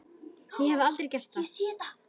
Ég hef aldrei gert það.